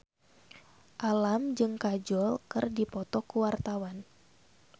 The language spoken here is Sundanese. Alam jeung Kajol keur dipoto ku wartawan